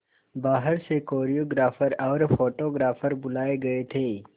बाहर से कोरियोग्राफर और फोटोग्राफर बुलाए गए थे